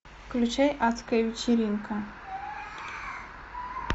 включай адская вечеринка